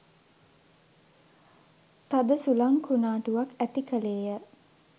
තද සුළං කුණාටුවක් ඇති කළේය.